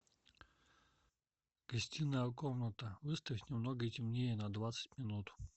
гостиная комната выставь немного темнее на двадцать минут